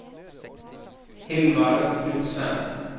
Hilmar Knutsen